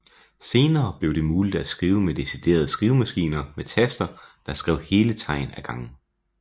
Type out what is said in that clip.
Senere blev det muligt at skrive med deciderede skrivemaskiner med taster der skrev hele tegn af gangen